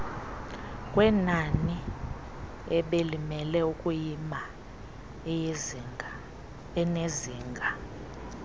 kwenaniebelimele ukuyima enezinga